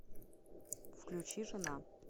включи жена